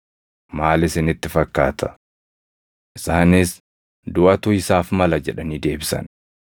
Maal isinitti fakkaata?” Isaanis, “Duʼatu isaaf mala” jedhanii deebisan.